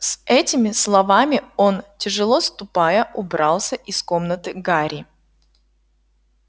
с этими словами он тяжело ступая убрался из комнаты гарри